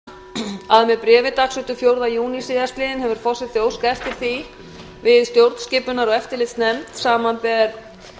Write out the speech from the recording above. forseti vill tilkynna að með bréfi dagsettu fjórða júní síðastliðinn hefur forseti óskað eftir því við stjórnskipunar og eftirlitsnefnd samanber